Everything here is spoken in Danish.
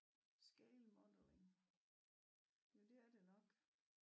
Scale modeling jo det er det nok